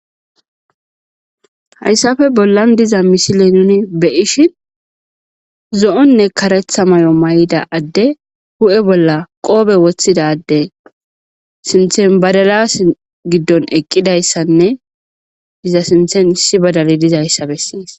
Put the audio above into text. Hayssafe bollan diza misile nuni beyishin zo,onne karetha may,o may7ida adde hu7e bolla qoobe woththidade sinthen badalas giddon eqqidayssanne iza sinthen issi badali dizayssa bessees.